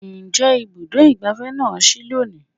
Ǹjẹ́ Ibùdó ìgbáfẹ́ na sí lónìí?